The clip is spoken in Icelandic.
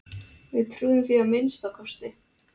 Við trúðum því að minnsta kosti.